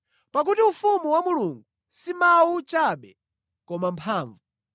Pakuti ufumu wa Mulungu si mawu chabe koma mphamvu.